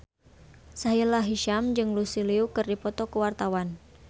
Sahila Hisyam jeung Lucy Liu keur dipoto ku wartawan